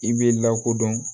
I b'i lakodɔn